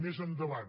més endavant